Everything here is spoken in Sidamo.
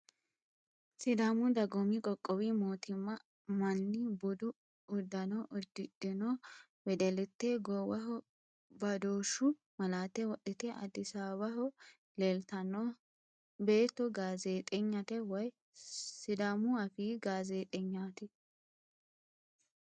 Sidaamu dagoomi qoqqowi mootimma manni budu uddano uddidhino wedellitte goowaho badooshshu malaate wodhite Addis Ababaho leeltanno. Beetto gaazeexenyate woyi sidaamu afii gaazeexenyaati.